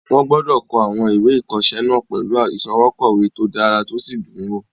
Wọ́n gbọdọ̀ kọ àwọn ìwé ìkọsẹ́ náà pẹ̀lú ìsọwọ́kọ̀wé to dára tó sì dùn wò